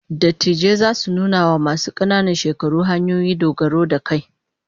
Dattijai zasu nuna wa masu kananan shekaru hanyoyi dogaro da kai